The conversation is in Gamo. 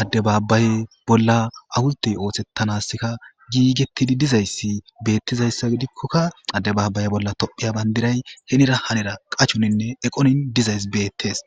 addebaabaye bolla awultey oohshettanaska giigettidi dizayssi beettizayssa gidikkokka addebaabaye bolla tophiya bandiray henira hanera qachoninne eqonin dizays beettees